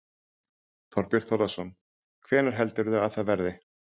Þorbjörn Þórðarson: Hvenær heldurðu að það verði?